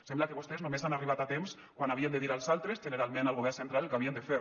sembla que vostès només han arribat a temps quan havien de dir als altres generalment al govern central el que havien de fer